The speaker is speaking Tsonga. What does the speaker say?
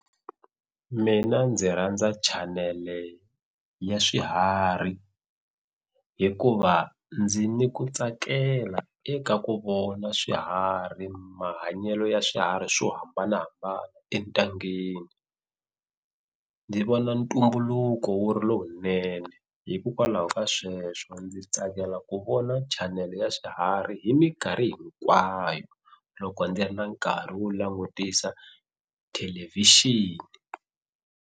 Mina ndzi rhandza chanele ya swiharhi hikuva ndzi ni ku tsakela eka ku vona swiharhi mahanyelo ya swiharhi swo hambanahambana entangheni ndzi vona ntumbuluko wu ri lowunene hikokwalaho ka sweswo ndzi tsakela ku vona chanele ya swiharhi hi minkarhi hinkwayo loko ndzi ri na nkarhi wo langutisa thelevhixini.